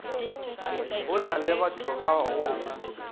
go na lebatho ba go